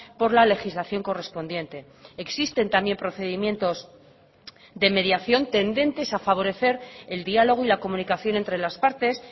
por la legislación correspondiente existen también procedimientos de mediación tendentes a favorecer el diálogo y la comunicación entre las partes